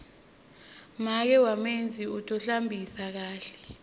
make wamenzi u tohlambisa kakhe